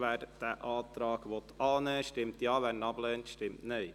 Wer diesen Antrag annehmen will, stimmt Ja, wer diesen ablehnt, stimmt Nein.